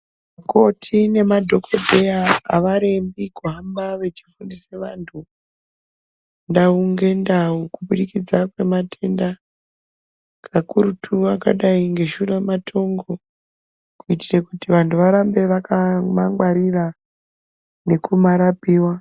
Vakoti nemadhokodheya avarembi kuhamba vechifundise vantu ndau ngendau kuburikidza kwematenda makurutu akadai ngeShuramatongo kuitire kuti vantu varambe vakamangwarira nekumarapiwa.